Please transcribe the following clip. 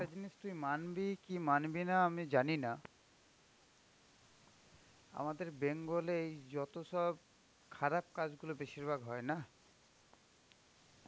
একটা জিনিস তুই মানবি কি মানবি না আমি জানিনা, আমাদের bengal এই যত সব খারাপ কাজগুলো বেশিরভাগ হয় নাহ,